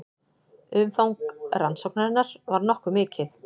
Umfang rannsóknarinnar var nokkuð mikið